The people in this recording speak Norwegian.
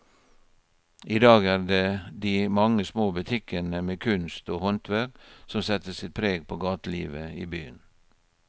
I dag er det de mange små butikkene med kunst og håndverk som setter sitt preg på gatelivet i byen.